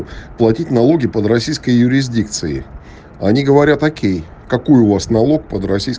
платить налоги под российской юрисдикции они говорят окей какой у вас налог под российской